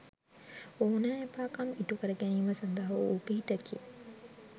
ඕනෑ එපාකම් ඉටුකර ගැනීම සඳහා වූ පිහිටකි.